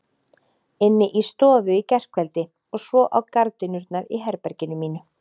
Inni í stofu í gærkveldi og svo á gardínurnar í herberginu mínu.